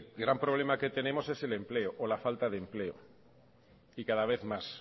gran problema que tenemos es el empleo o la falta de empleo y cada vez más